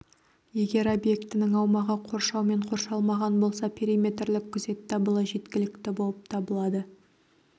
егер объектінің аумағы қоршаумен қоршалмаған болса периметрлік күзет дабылы жеткілікті болып табылады